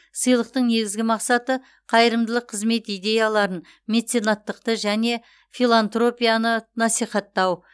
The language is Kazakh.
сыйлықтың негізгі мақсаты қайырымдылық қызмет идеяларын меценаттықты және филантропияны насихаттау